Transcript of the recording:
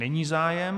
Není zájem.